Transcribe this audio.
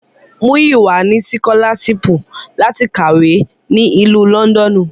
Muyiwa ni sikolaṣipu lati kawe ni Ilu Lọndọnu